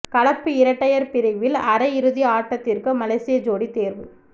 கலப்பு இரட்டையர் பிரிவில் அரையிறுதி ஆட்டத்திற்கு மலேசிய ஜோடி தேர்வு